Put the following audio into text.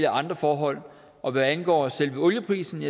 andre forhold og hvad angår selve olieprisen